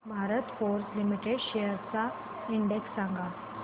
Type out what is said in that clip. Bharat Forge Limited shares चा index सांगा